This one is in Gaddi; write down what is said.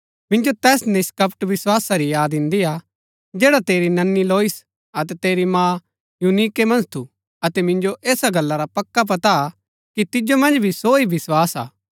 मिन्जो तैस निष्‍कपट विस्‍वासा री याद इन्दी हा जैडा तेरी ननी लोइस अतै तेरी माँ यूनीके मन्ज थू अतै मिन्जो ऐसा गल्ला रा पक्का पता हा कि तिजो मन्ज भी सो ही विस्वास हा